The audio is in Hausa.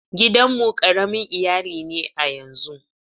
Gidan mu ƙaramin iyali ne a yanzun.